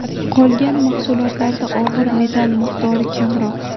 Qolgan mahsulotlarda og‘ir metall miqdori kamroq.